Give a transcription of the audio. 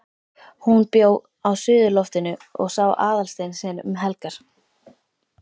HÚN bjó á suðurloftinu og sá Aðalstein sinn um helgar.